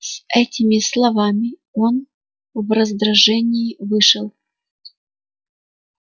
с этими словами он в раздражении вышел